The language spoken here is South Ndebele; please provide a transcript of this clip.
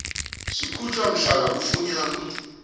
sikhutjhwa mhlana kufunyanwa